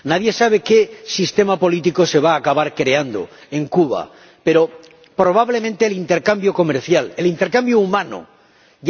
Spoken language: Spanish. Nadie sabe qué sistema político se va a acabar creando en Cuba, pero, probablemente, el intercambio comercial, el intercambio humano influya.